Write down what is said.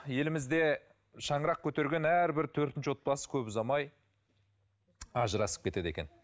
елімізде шаңырақ көтерген әрбір төртінші отбасы көп ұзамай ажырасып кетеді екен